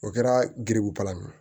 O kɛra giribulan ye